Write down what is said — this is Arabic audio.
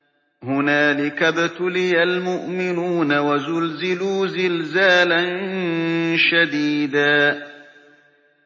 هُنَالِكَ ابْتُلِيَ الْمُؤْمِنُونَ وَزُلْزِلُوا زِلْزَالًا شَدِيدًا